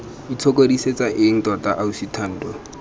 itshokodisetsa eng tota ausi thando